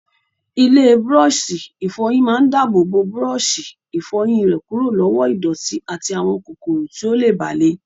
Ilé búrọ́ọ̀ṣì ìfọyín máa dáàbò bo búrọ́ọ̀ṣì ìfọyín rẹ kúrò lọ́wọ́ ìdọ̀tí àti àwọn kòkòrò tí ó lè bà le.